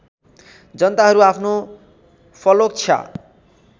जनताहरू आफ्नो फलोच्छा